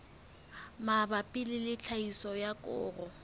mabapi le tlhahiso ya koro